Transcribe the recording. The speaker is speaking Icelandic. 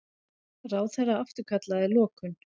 Ráðherra afturkallaði lokun